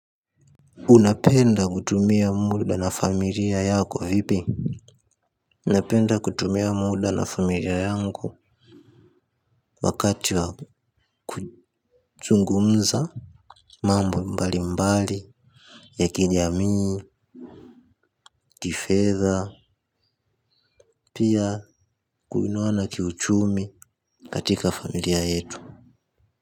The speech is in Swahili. Unapenda kutumia muda na familia yako vipi? Unapenda kutumia muda na familia yangu wakati wa kuzungumza. Mambo mbali mbali ya kijamii, kifedha, pia kuinuana kiuchumi katika familia yetu.